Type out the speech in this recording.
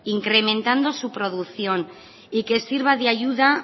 incrementado su producción y que sirva de ayuda